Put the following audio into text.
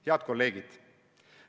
Head kolleegid!